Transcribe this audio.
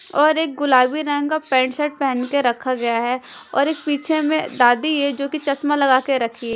और एक गुलाबी रंग का पैंट शर्ट पहन के रखा गया है और एक पीछे में दादी है जोकि चश्मा लगा के रखी--